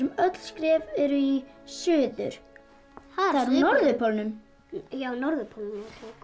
öll skref eru í suður það er á norðurpólnum já norðurpólnum